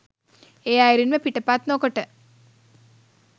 ඒ අයුරින්ම පිටපත් නොකොට